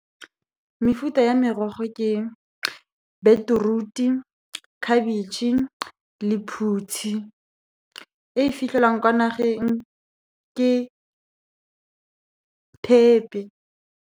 Mefuta ya merogo ke beetroot-e, khabetšhe, lephutshi. E fitlhelwang kwa nageng ke thepe.